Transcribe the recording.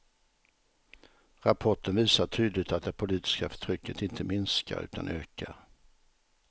Rapporten visar tydligt att det politiska förtrycket inte minskar utan ökar.